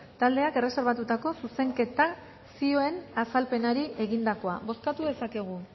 taldeak erreserbatutako zuzenketa zioen azalpenari egindakoa bozkatu dezakegu